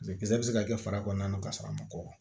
Jeli bɛ se ka kɛ fara kɔnɔna na ka sɔrɔ a ma kɔkɔ